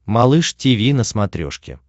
малыш тиви на смотрешке